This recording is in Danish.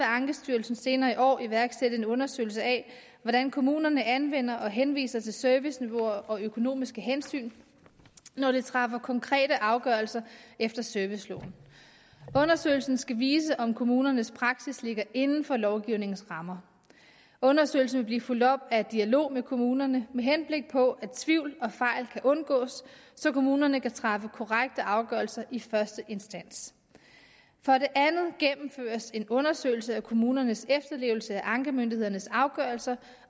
ankestyrelsen senere i år iværksætte en undersøgelse af hvordan kommunerne anvender og henviser til serviceniveauer og økonomiske hensyn når de træffer konkrete afgørelser efter serviceloven undersøgelsen skal vise om kommunernes praksis ligger inden for lovgivningens rammer undersøgelsen vil blive fulgt op af en dialog med kommunerne med henblik på at tvivl og fejl kan undgås så kommunerne kan træffe korrekte afgørelser i første instans for det andet gennemføres en undersøgelse af kommunernes efterlevelse af ankemyndighedernes afgørelser